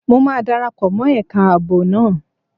Mo máa dara pọ̀ mọ́ ẹ̀ka ààbò náà